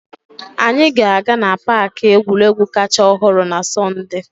Anyị ga-aga na paaki egwuregwu kacha ọhụrụ na Sọnde.